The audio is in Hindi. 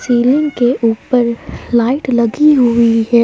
सीलिंग के ऊपर लाइट लगी हुई है।